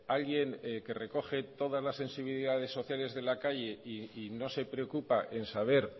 alguien que recoge todas las sensibilidades sociales de la calle y no se preocupa en saber